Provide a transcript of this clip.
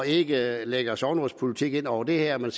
ikke lægger sognerådspolitik ind over det her